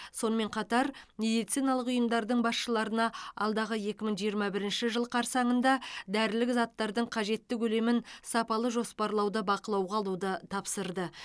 сонымен қатар медициналық ұйымдардың басшыларына алдағы екі мың жиырма бірінші жыл қарсаңында дәрілік заттардың қажетті көлемін сапалы жоспарлауды бақылауға алуды тапсырды